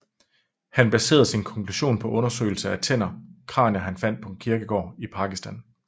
Han baserede sin konklusion på undersøgelser af tænder og kranier han fandt på en kirkegård i Pakistan